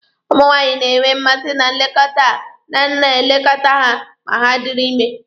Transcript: Ụmụ nwaanyị na-enwe mmasị na nlekọta a na-elekọta ha ma ha dịrị ime.